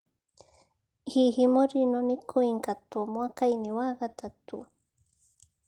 Hihi Mourinho nĩ kũingatwo mwaka-inĩ wa gatatũ?